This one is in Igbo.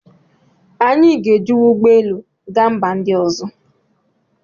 Anyị ga-ejiwu ụgbọ elu gaa mba ndị ọzọ